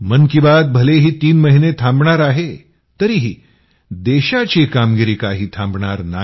मन की बात भलेही तीन महिने थांबणार आहे तरीही देशाची कामगिरी काही थांबणार नाही